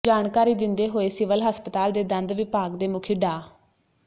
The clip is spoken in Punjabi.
ਜਾਣਕਾਰੀ ਦਿੰਦੇ ਹੋਏ ਸਿਵਲ ਹਸਪਤਾਲ ਦੇ ਦੰਦ ਵਿਭਾਗ ਦੇ ਮੁਖੀ ਡਾ